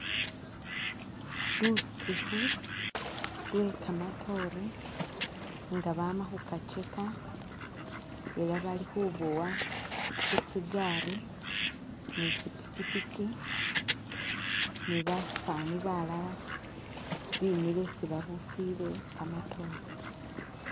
Lusikhu lwe kamatoore nenga bama khukacheka ela bali khuboya khutsigaali ne khutsi pikipiki ne basaani balala bemile isi babusile kamatoore.